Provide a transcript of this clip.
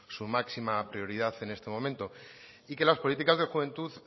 su máxima prioridad en este momento y que las políticas de juventud